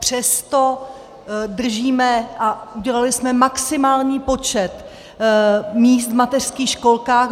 Přesto držíme a udělali jsme maximální počet míst v mateřských školkách.